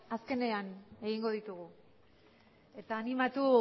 azkenean egingo ditugu eta animatu